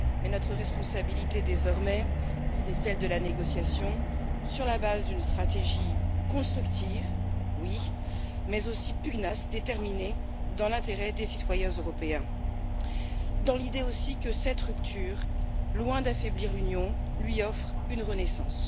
Mais notre responsabilité désormais, c'est celle de la négociation sur la base d'une stratégie constructive mais aussi pugnace et déterminée dans l'intérêt des citoyens européens, dans l'idée aussi que cette rupture, loin d'affaiblir l'Union, lui offre une renaissance.